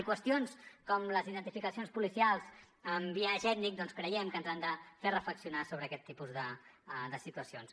i qüestions com les identificacions policials amb biaix ètnic doncs creiem que ens han de fer reflexionar sobre aquest tipus de situacions